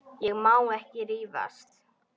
Ég má ekki rífast.